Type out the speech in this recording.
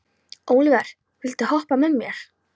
Ólíver, viltu hoppa með mér?